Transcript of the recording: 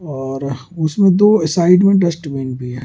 और उसमें दो साइड में डस्टबिन भी हैं।